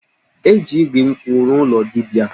E ji igu nkwụ rụọ ụlọ dibia